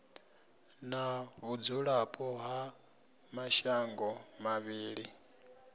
na vhudzulapo ha mashango mavhili